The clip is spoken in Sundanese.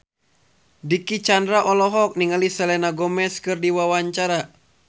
Dicky Chandra olohok ningali Selena Gomez keur diwawancara